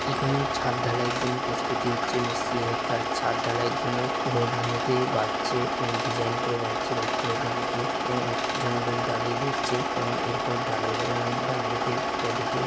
এখানেও ছাদ ঢালায়ের জন্য প্রস্তুতি হচ্ছে মিস্ত্রীরা ছাদ ঢালাইএর জন্য রডগুলোকে বাঁধছে উম ডিজাইন করে বাঁধছে রড অনেকে এবং একজন লোক দাঁড়িয়ে দেখছে এবং এরপরে ঢালাই হবে ডান দিকে বাঁদিকে।